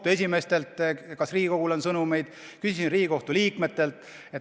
Küsisin kohtute esimeestelt, kas neil Riigikogule on sõnumeid, küsisin seda ka Riigikohtu liikmetelt.